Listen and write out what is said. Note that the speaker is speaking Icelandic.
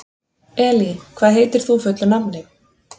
Elí, hvað heitir þú fullu nafni?